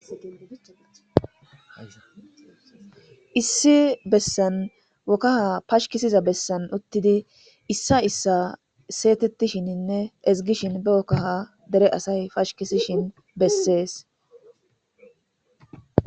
Issi bessa Kaha pashkisiza bessan uttiddi issa issa segetishinne ezgishin be kahadere asay pashkisishin besses.